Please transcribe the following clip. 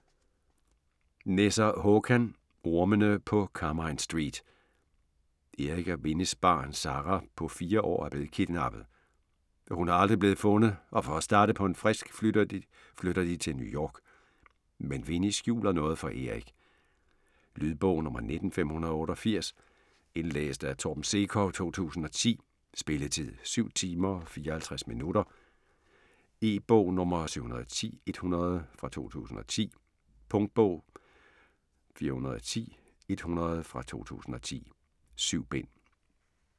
Nesser, Håkan: Ormene på Carmine Street Erik og Winnies barn, Sarah, på 4 år er blevet kidnappet. Hun er aldrig blevet fundet og for at starte på en frisk flytter de til New York. Men Winnie skjuler noget for Erik. Lydbog 19588 Indlæst af Torben Sekov, 2010. Spilletid: 7 timer, 54 minutter. E-bog 710100 2010. Punktbog 410100 2010. 7 bind.